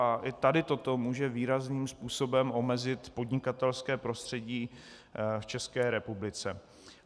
A i tady toto může výrazným způsobem omezit podnikatelské prostředí v České republice.